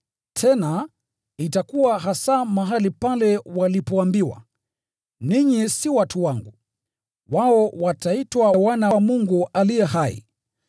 tena, “Itakuwa hasa mahali pale walipoambiwa, ‘Ninyi si watu wangu,’ wao wataitwa ‘wana wa Mungu aliye hai.’ ”